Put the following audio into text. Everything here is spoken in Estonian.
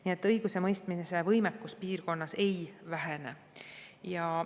Nii et õigusemõistmise võimekus piirkonnas ei vähene.